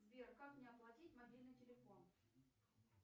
сбер как мне оплатить мобильный телефон